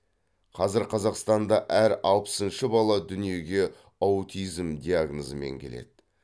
қазір қазақстанда әр алпысыншы бала дүниеге аутизм диагнозымен келеді